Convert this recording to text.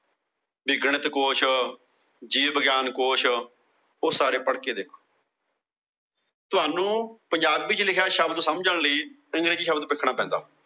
ਕੀ ਗਣਿਤ ਕੁਛ, ਜੀਵ ਵਿਗਿਆਨ ਕੁਛ। ਸਾਰੇ ਪੜ ਕੇ ਦੇਖੋ। ਤੁਹਾਨੂੰ ਪੰਜਾਬੀ ਚ ਲਿਖਿਆ ਸ਼ਬਦ ਸਮਝਣ ਲਈ ਅੰਗਰੇਜ਼ੀ ਸ਼ਬਦ ਸਿੱਖਣਾ ਪੈਂਦਾ।